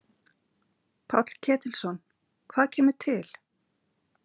Páll Ketilsson: Hvað kemur til?